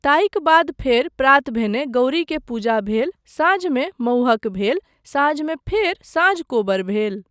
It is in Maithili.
ताहिक बाद फेर प्रात भेने गौरीके पूजा भेल, साँझमे मउहक भेल, साँझमे फेर साँझ कोबर भेल।